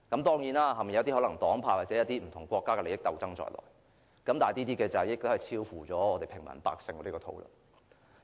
當然，背後可能牽涉一些黨派或不同國家的利益鬥爭在內，但已超乎我們平民百姓的討論範圍。